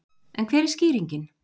En hver er skýringin?